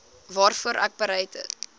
waarvoor ek bereid